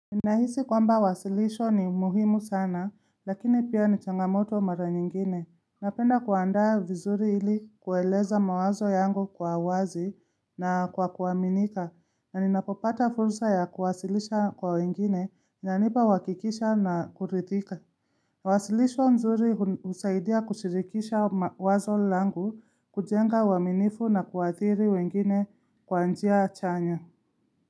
Ninahisi kwamba wasilisho ni muhimu sana lakini pia ni changamoto mara nyingine. Napenda kuandaa vizuri ili kueleza mawazo yangu kwa wazi na kwa kuaminika na ninapopata fursa ya kuwasilisha kwa wengine, inanipa uhakikisho na kuridhika. Wasilisho nzuri usaidia kushirikisha ma wazo langu kujenga uaminifu na kuwaadhiri wengine kwa njia chanya.